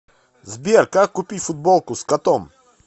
сбер как купить футболку с котом